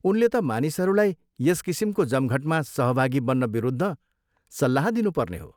उनले त मानिसहरूलाई यस किसिमको जमघटमा सहभागी बन्नविरुद्ध सल्लाह दिनुपर्ने हो।